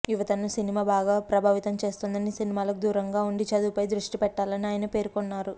యువతను సినిమా బాగా ప్రభావితం చేస్తోందని సినిమాలకు దూరంగా ఉండి చదువుపై దష్టి పెట్టాలని ఆయన పేర్కొన్నారు